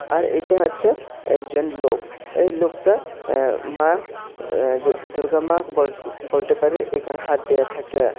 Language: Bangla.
আর এইটা হচ্ছে একজন লোক এই লোকতা অ্যা মা অ্যা দুর্গামা বোল বোলটে পারি এখানে হাত দিয়ে থাকে।